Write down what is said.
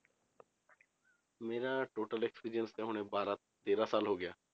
ਮੇਰਾ total experience ਇਹ ਹੁਣ ਬਾਰਾਂ ਤੇਰਾਂ ਸਾਲ ਹੋ ਗਿਆ।